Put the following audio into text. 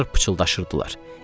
Qızlar pıçıldaşırdılar.